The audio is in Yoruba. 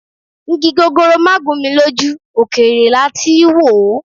Igi gogoro má gún mi lójú, òkèèrè la tí í wò ó